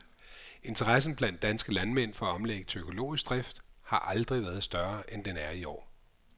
Interessen blandt danske landmænd for at omlægge til økologisk drift har aldrig været større, end den er i år.